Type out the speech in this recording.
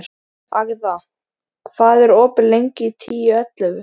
Agða, hvað er opið lengi í Tíu ellefu?